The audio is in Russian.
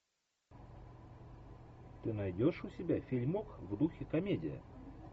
ты найдешь у себя фильмок в духе комедия